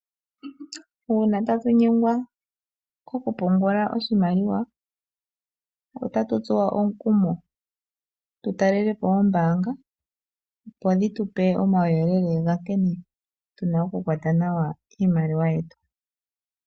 Uuna tatu nyengwa okupungula oshimaliwa otatu tsuwa omukumo tutalelepo oombaanga dho dhitupe omauyelele gaankene tuna okukwata nawa iimaliwa yetu.